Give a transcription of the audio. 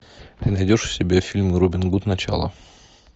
ты найдешь у себя фильм робин гуд начало